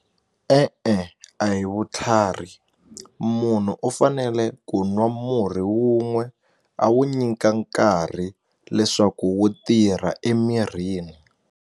E-e, a hi vutlhari munhu u fanele ku nwa murhi wun'we a wu nyika nkarhi leswaku wu tirha emirini.